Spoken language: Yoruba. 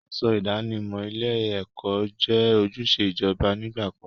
Aṣọ ìdánimọ̀ ilé-ẹ̀kọ́ jẹ́ ojúṣe ìjọba nígbà kan.